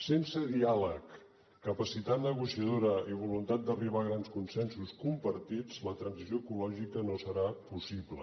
sense diàleg capacitat negociadora i voluntat d’arribar a grans consensos compartits la transició ecològica no serà possible